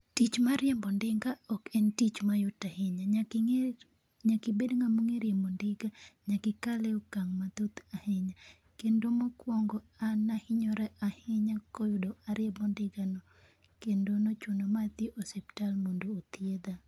Tich mar riembo ndiga ok en tich ma yot ahinya. Nyaka ing'e nyaka ibed ng'amo ng'e riembo ndiga, nyaka ikal e okang' mathoth ahinya. Kendo mokuongo, an ne ahinyora ahinya koyudo ariembo ndiga no, kendo nochuno madhi e osiptal mondo othiedha.